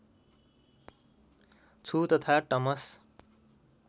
छु तथा टमस